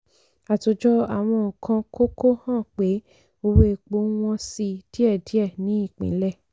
àtòjọ àwọn nǹkan kókó hàn pé owó epo ń wọ́n si díẹ̀díẹ̀ ní ìpínlẹ̀.